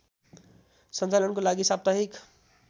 सञ्चालनको लागि साप्ताहिक